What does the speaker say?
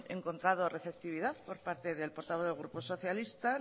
encontrado receptividad por parte del portavoz del grupo socialista